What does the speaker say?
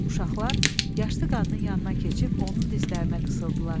Uşaqlar yaşlı qadının yanına keçib onun dizlərinə qısıldılar.